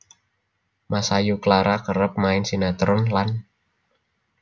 Masayu Clara kerep main sinetron lan